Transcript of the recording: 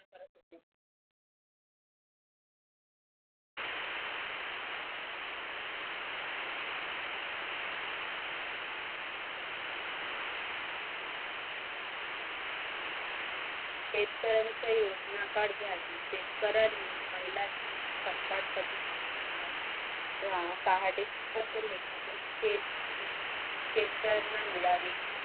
शेतकऱ्यांच्या योजना द्यावी शेतकऱ्यांनी महिलां कधी ते पहाटे निगतो शेतकऱ्यांना मिडावी.